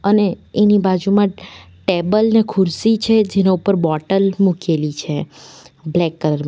અને એની બાજુમાં ટેબલ ને ખુરશી છે જેનો ઉપર બોટલ મૂકેલી છે બ્લેક કલર માં --